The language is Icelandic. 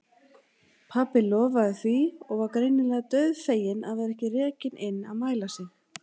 Pabbi lofaði því og var greinilega dauðfeginn að vera ekki rekinn inn að mæla sig.